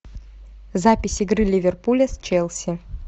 запись игры ливерпуля с челси